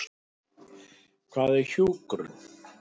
Hvað er hjúkrun?